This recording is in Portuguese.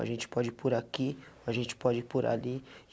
A gente pode ir por aqui, a gente pode ir por ali.